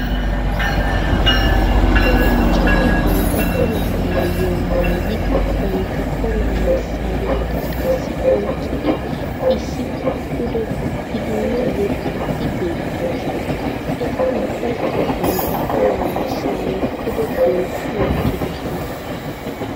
Olanchati bantta olaa maayuwa maayidi bantta olaa massaariyaakka qassi oyqqidi issippe pude guppiiddinne yexxiiddi beettoosona. Eti ubbaykka bantta olaa massariyaa pude dentti wottidosona.